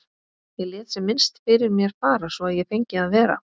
Ég lét sem minnst fyrir mér fara svo að ég fengi að vera.